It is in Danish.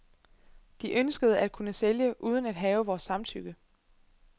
De ønskede at kunne sælge uden at have vores samtykke.